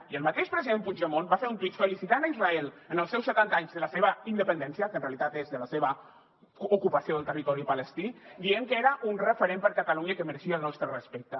i el mateix president puigdemont va fer un tuit felicitant israel en els seus setanta anys de la seva independència que en realitat és de la seva ocupació del territori palestí dient que era un referent per a catalunya que mereixia el nostre respecte